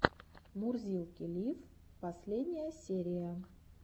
мурзилки лив последняя серия